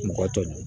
Mɔgɔ tɔ